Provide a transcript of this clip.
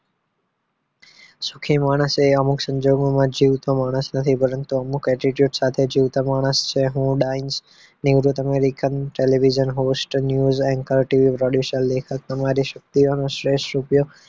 સુખી માણસ એ અમુક સંજોગોમાં જીવતો માણસ નથી પરંતુ અમુક attitude સાથે જીવતો માણસ છે હું ડાઈન નિવૃત અને રીકમ television host news and cultivate audition લી લેખક તમારી શક્તિઓનો શ્રેષ્ઠ ઉપયોગ